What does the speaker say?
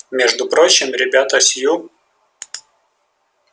между прочим ребята с ю